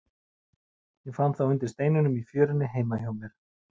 Ég fann þá undir steinum í fjörunni heima hjá mér.